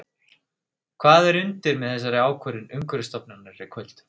Hvað er undir með þessari ákvörðun Umhverfisstofnunar í kvöld?